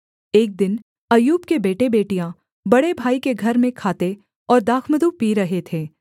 एक दिन अय्यूब के बेटेबेटियाँ बड़े भाई के घर में खाते और दाखमधु पी रहे थे